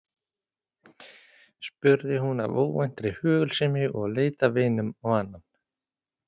spurði hún af óvæntri hugulsemi og leit af einum á annan.